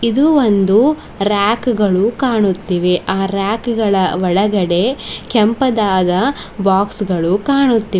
ಇದು ಒಂದು ರ್ಯಾಕು ಗಳು ಕಾಣುತ್ತಿವೆ ಆ ರ್ಯಾಕು ಗಳ ಒಳಗಡೆ ಕೆಂಪದಾದ ಬಾಕ್ಸ್ ಗಳು ಕಾಣುತ್ತಿವೆ.